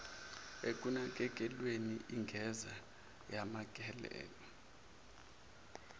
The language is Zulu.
ekunakekelweni ingeze yanakekelwa